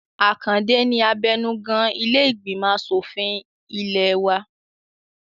Àkàndé ni abẹnugan ilé ìgbìmọ̀ asòfin ilẹ̀ ẹ wa